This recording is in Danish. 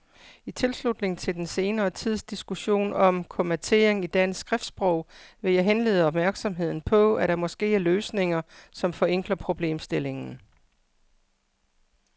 I tilslutning til den senere tids diskussion om kommatering i dansk skriftsprog vil jeg henlede opmærksomheden på, at der måske er løsninger, som forenkler problemstillingen.